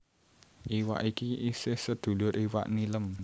Iwak iki isih seduluré iwak nilem